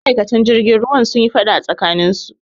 Ma'aikata jirgin ruwan sunyi faɗa a tsakaninsu